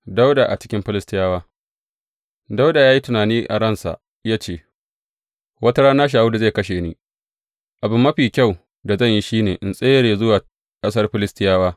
Dawuda a cikin Filistiyawa Dawuda ya yi tunani a ransa ya ce, Wata rana Shawulu zai kashe ni, abu mafi kyau da zan yi shi ne in tsere zuwa ƙasar Filistiyawa.